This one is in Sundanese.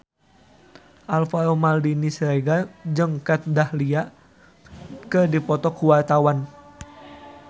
Alvaro Maldini Siregar jeung Kat Dahlia keur dipoto ku wartawan